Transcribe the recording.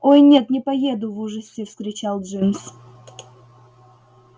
ой нет не поеду в ужасе вскричал джимс